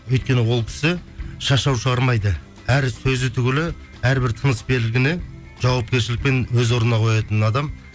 өйткені ол кісі шашау шығармайды әр сөзі түгілі әрбір тыныс белгіні жауапкершілікпен өз орнына қоятын адам